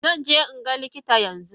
Zanje inga likitan yanzu.